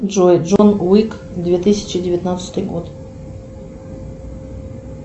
джой джон уик две тысячи девятнадцатый год